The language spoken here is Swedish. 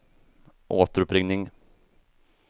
återuppringning